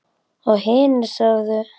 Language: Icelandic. Og hinir sögðu: